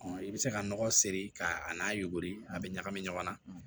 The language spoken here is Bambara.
i bɛ se ka nɔgɔ seri k'a n'a yuguri a bɛ ɲagami ɲɔgɔn na